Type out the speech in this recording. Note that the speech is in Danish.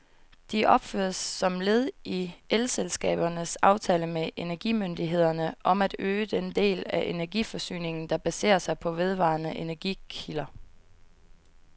De opføres som led i elselskabernes aftale med energimyndighederne om at øge den del af energiforsyningen, der baserer sig på vedvarende energikilder.